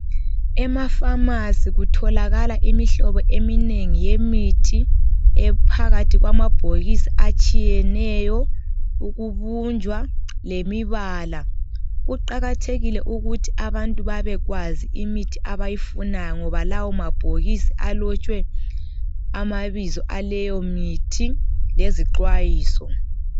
EmaPharmacy kutholakala imihlobo eminengi yemithi ,ephakathi kwamabhokisi atshiyeneyo ,ukubunjwa lemibala. Kuqakathekile ukuthi abantu babekwazi imithi abayifunayo ngoba lawo mabhokisi alotshwe amabizo aleyomithi lezixwayiso.